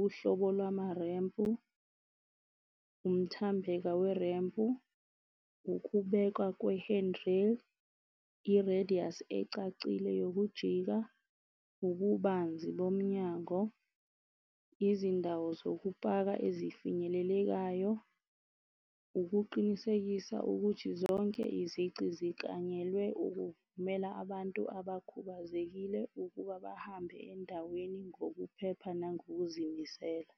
uhlobo lwamarempu, umthambeka werempu. Ukubekwa i-radius ecacile yokujika, ububanzi bomnyango. Izindawo zokupaka ezifinyelelekayo ukuqinisekisa ukuthi zonke izici ziklanyelwe ukuvumela abantu abakhubazekile ukuba bahambe endaweni ngokuphepha nangokuzimisela.